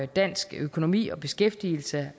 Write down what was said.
dansk økonomi og beskæftigelse